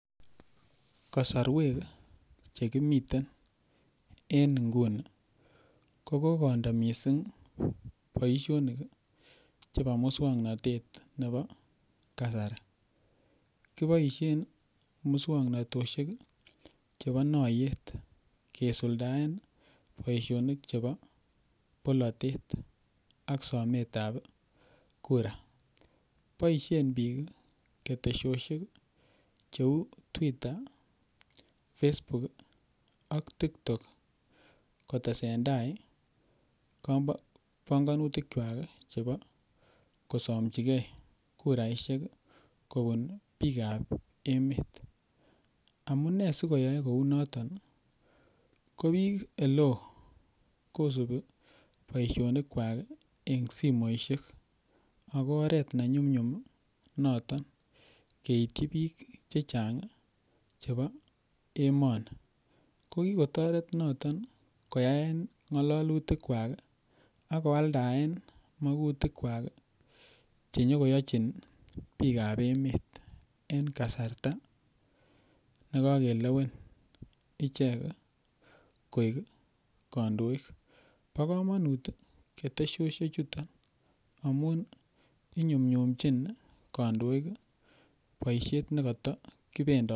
Kasarwek chekimitein en nguni ko kokondo mising' boishonik chebo muswong'natet nebo kasari kiboishen muswog'notoshek chebo noyet kesuldaen boishonik chebo bolotet ak sometab kura boishen biik ketesioshek cheu twitter Facebook ak tiktok kotesentai pongonutikchwai chebo kosomchigei kuraishek kobun biikab emet amune sikoyoe kou noton ko biik ole oo kosubi boishonik kwak eng' simoishek ako oret nenyumnyum noton keityi biik chechang' chebo emoni ko kikotoret noton koyaen ng'ololutil kwak akoaldaen mokutik kwak chenyikoyochin biikab emet en kasarta nekakelewen ichek koek kandoik bo komonut ketesioshek chuto amun inyumnyumchin kandoik boishet nekata kipendoti